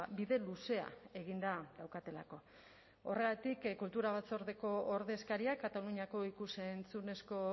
bide luzea eginda daukatelako horregatik kultura batzordeko ordezkariak kataluniako ikus entzunezko